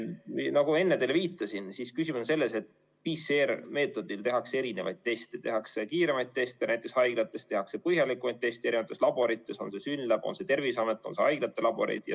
Nagu ma enne teile viitasin, siis küsimus on selles, et PCR‑meetodil tehakse erinevaid teste, tehakse kiiremaid teste, näiteks haiglates, tehakse põhjalikumaid teste erinevates laborites, on see siis SYNLAB, on see Terviseamet, on need haiglate laborid.